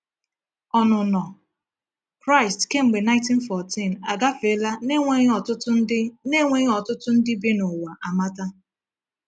“Ọnụnọ” Kraịst kemgbe 1914 agafeela na-enweghị ọtụtụ ndị na-enweghị ọtụtụ ndị bi n’ụwa amata.